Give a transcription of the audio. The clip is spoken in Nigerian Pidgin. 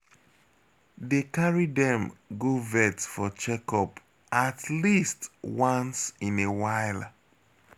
Dey carry dem go vet for checkup at least once in while.